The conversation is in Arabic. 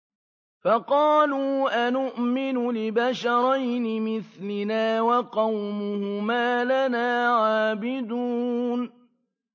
فَقَالُوا أَنُؤْمِنُ لِبَشَرَيْنِ مِثْلِنَا وَقَوْمُهُمَا لَنَا عَابِدُونَ